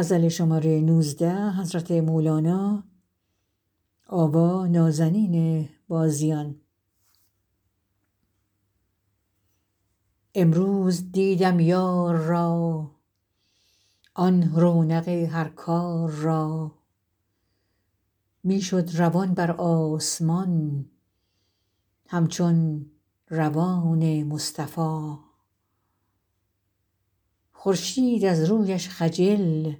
امروز دیدم یار را آن رونق هر کار را می شد روان بر آسمان همچون روان مصطفا خورشید از رویش خجل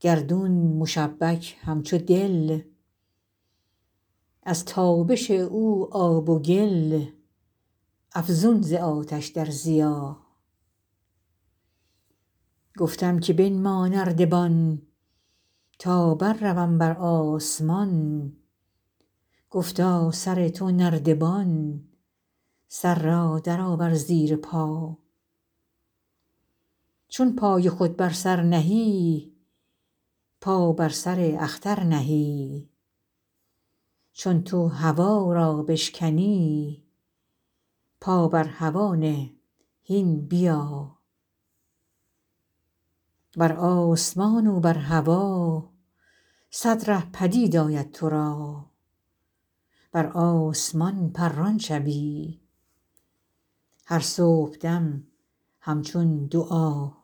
گردون مشبک همچو دل از تابش او آب و گل افزون ز آتش در ضیا گفتم که بنما نردبان تا برروم بر آسمان گفتا سر تو نردبان سر را درآور زیر پا چون پای خود بر سر نهی پا بر سر اختر نهی چون تو هوا را بشکنی پا بر هوا نه هین بیا بر آسمان و بر هوا صد ره پدید آید تو را بر آسمان پران شوی هر صبحدم همچون دعا